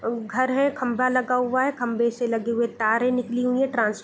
और घर है खंबा लगा हुआ है खंबे से लगे हुए तारे निकली हुई है | ट्रांस---